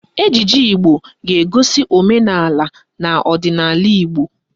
Ejije Igbo ga-egosi omenaala na ọdịnaala Igbo